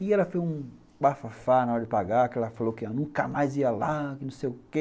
E ela foi um bafafá na hora de pagar, que ela falou que nunca mais ia lá, que não sei o quê.